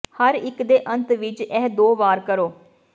ਹਰ ਇੱਕ ਦੇ ਅੰਤ ਵਿੱਚ ਇਹ ਦੋ ਵਾਰ ਕਰੋ